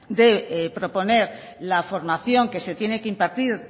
de proponer la formación que se tiene que impartir